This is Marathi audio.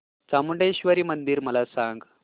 चामुंडेश्वरी मंदिर मला सांग